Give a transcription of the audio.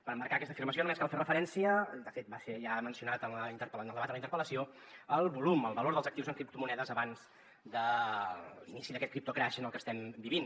per emmarcar aquesta afirmació només cal fer referència i de fet va ser ja mencionat en el debat de la interpel·lació al volum al valor dels actius en criptomonedes abans de l’inici d’aquest criptocrash en el que estem vivint